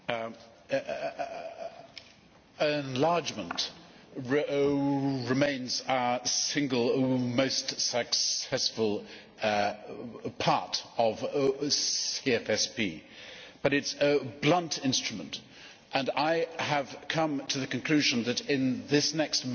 Mr President, enlargement remains our single most successful part of CFSP, but it is a blunt instrument, and I have come to the conclusion that in this next